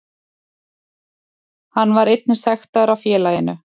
Hann var einnig sektaður af félaginu